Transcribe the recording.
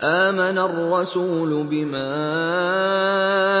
آمَنَ الرَّسُولُ بِمَا